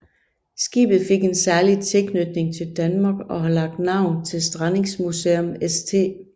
Skibet fik en særlig tilknytning til Danmark og har lagt navn til Strandingsmuseum St